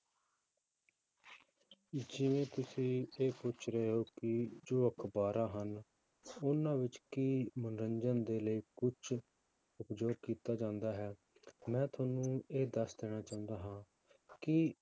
ਜਿਵੇਂ ਤੁਸੀਂ ਇਹ ਪੁੱਛ ਰਹੇ ਹੋ ਕਿ ਜੋ ਅਖ਼ਬਾਰਾਂ ਹਨ, ਉਹਨਾਂ ਵਿੱਚ ਕੀ ਮਨੋਰੰਜਨ ਦੇ ਕੁਛ ਜੋ ਕੀਤਾ ਜਾਂਦਾ ਹੈ, ਮੈਂ ਤੁਹਾਨੂੰ ਇਹ ਦੱਸ ਦੇਣਾ ਚਾਹੁੰਦਾ ਹਾਂ ਕਿ